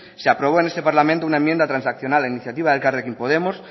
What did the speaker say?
se aprobó en este parlamento una enmienda transaccional a iniciativa de elkarrekin podemos